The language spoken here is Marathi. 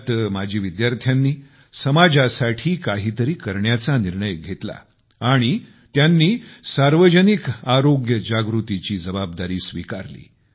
यात माजी विद्यार्थ्यांनी समाजासाठी काहीतरी करण्याचा निर्णय घेतला आणि त्यांनी सार्वजनिक आरोग्य जनजागृतीची जबाबदारी स्वीकारली